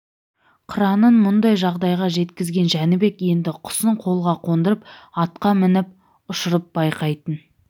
қыранын мұндай жағдайға жеткізген жәнібек енді құсын қолға қондырып атқа мініп ұшырып байқайтын